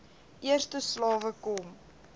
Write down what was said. eerste slawe kom